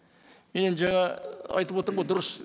мен енді жаңа айтып отырмын ғой дұрыс